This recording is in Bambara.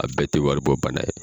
A bɛɛ tɛ waribɔ bana ye.